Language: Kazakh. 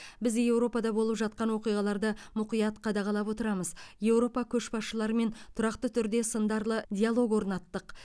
біз еуропада болып жатқан оқиғаларды мұқият қадағалап отырамыз еуропа көшбасшыларымен тұрақты түрде сындарлы диалог орнаттық